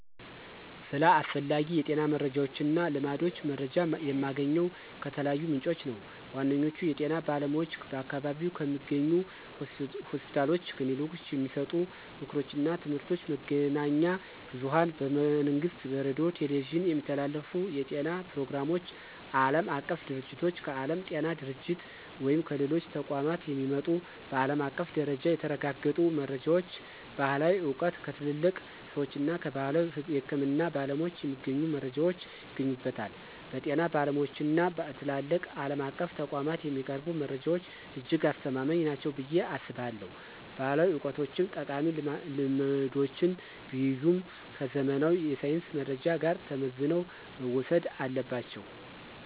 ስለ አስፈላጊ የጤና መረጃዎችና ልማዶች መረጃ የማገኘው ከተለያዩ ምንጮች ነው። ዋነኛዎቹ፦ የጤና ባለሙያዎች በአካባቢው ከሚገኙ ሆስፒታሎችና ክሊኒኮች የሚሰጡ ምክሮችና ትምህርቶች፣ መገናኛ ብዙኃን በመንግሥት ሬዲዮና ቴሌቪዥን የሚተላለፉ የጤና ፕሮግራሞች፣ ዓለም አቀፍ ድርጅቶች: ከዓለም ጤና ድርጅት ወይም ከሌሎች ተቋማት የሚመጡ በዓለም አቀፍ ደረጃ የተረጋገጡ መረጃዎች፣ ባሕላዊ ዕውቀት: ከትልልቅ ሰዎችና ከባሕላዊ የሕክምና ባለሙያዎች የሚገኙ መረጃዎች ይገኙበታል። በጤና ባለሙያዎችና በትላልቅ ዓለም አቀፍ ተቋማት የሚቀርቡ መረጃዎች እጅግ አስተማማኝ ናቸው ብዬ አስባለሁ። ባሕላዊ ዕውቀቶችም ጠቃሚ ልምዶችን ቢይዙም፣ ከዘመናዊ የሳይንስ መረጃ ጋር ተመዝነው መወሰድ አለባቸው።